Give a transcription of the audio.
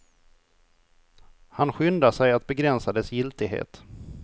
Han skyndar sig att begränsa dess giltighet.